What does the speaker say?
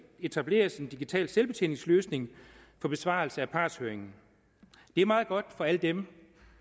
etableres en digital selvbetjeningsløsning på besvarelse af partshøringen det er meget godt for alle dem